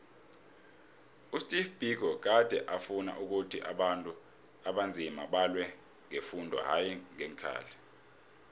usteve biko gade afuna ukhuthi abantu abanzima balwe ngefundo hayi ngeenkhali